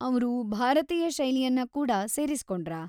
ಅವ್ರು ಭಾರತೀಯ ಶೈಲಿಯನ್ನ ಕೂಡಾ ಸೇರಿಸಿಕೊಂಡ್ರಾ?